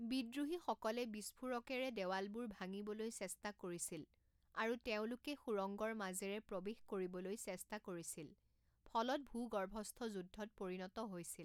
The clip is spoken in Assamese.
বিদ্ৰোহীসকলে বিস্ফোৰকেৰে দেৱালবোৰ ভাঙিবলৈ চেষ্টা কৰিছিল আৰু তেওঁলোকে সুৰংগৰ মাজেৰে প্ৰৱেশ কৰিবলৈ চেষ্টা কৰিছিল ফলত ভূগৰ্ভস্থ যুদ্ধত পৰিণত হৈছিল।